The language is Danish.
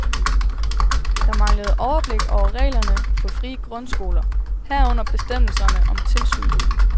Der manglede overblik over reglerne for frie grundskoler, herunder bestemmelserne om tilsyn.